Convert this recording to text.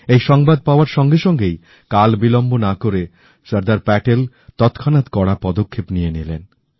এই সংবাদ পাওয়ার সঙ্গে সঙ্গেই কালবিলম্ব না করে সর্দার প্যাটেল তৎক্ষণাৎ কড়া পদক্ষেপ নিয়ে নিলেন